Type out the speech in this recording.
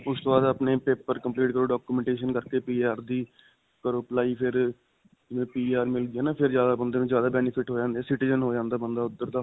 ਉਸਤੋਂ ਬਾਅਦ ਆਪਣੇ paper complete ਕਰੋ, documentation ਕਰਕੇ, PR ਦੀ ਕਰੋ apply ਫਿਰ ਜੇ PR ਮਿਲ ਜੇ ਨਾ ਫਿਰ ਜਿਆਦਾ ਬੰਦੇ ਨੂੰ ਫਿਰ ਜਿਆਦਾ benefit ਹੋ ਜਾਂਦੇ. citizen ਹੋ ਜਾਂਦਾ ਬੰਦਾ ਉੱਧਰ ਦਾ.